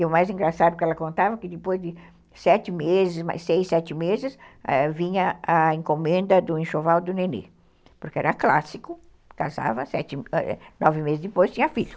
E o mais engraçado é que ela contava que depois de sete meses, seis, sete meses, vinha a encomenda do enxoval do nenê, porque era clássico, casava, sete, nove meses depois tinha filho.